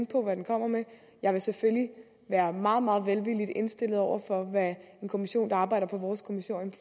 på hvad den kommer med jeg vil selvfølgelig være meget meget velvilligt indstillet over for hvad en kommission der arbejder på vores kommissorium